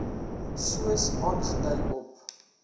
soos aangedui op